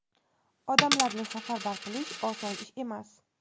odamlarni safarbar qilish oson ish emas.